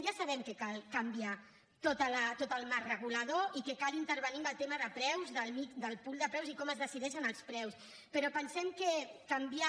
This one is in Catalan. ja sabem que cal canviar tot el marc regulador i que cal intervenir en el tema de preus del mix del pool de preus i com es decideixen els preus però pensem que canviar